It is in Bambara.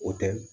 O tɛ